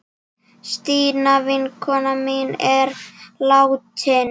Stína vinkona mín er látin.